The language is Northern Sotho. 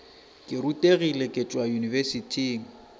ke rutegile ke tšwa yunibesithing